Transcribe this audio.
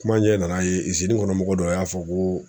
Kuma ɲɛ n'a ye kɔnɔ mɔgɔ dɔ y'a fɔ ko